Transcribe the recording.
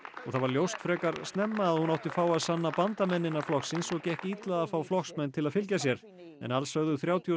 það var ljóst frekar snemma að hún átti fáa sanna bandamenn innan flokksins og gekk illa að fá flokksmenn til að fylgja sér en alls sögðu þrjátíu og